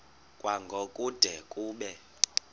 kwango kude kube